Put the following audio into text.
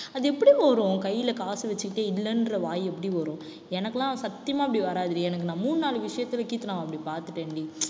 அது எப்படி கையில காசு வச்சுக்கிட்டே இல்லைன்ற வாய் எப்படி வரும் எனக்கெல்லாம் சத்தியமா இப்படி வராதுடி. எனக்கு நான் மூணு நாலு விஷயத்துல கீர்த்தனாவ அப்படி பார்த்துட்டேன்டி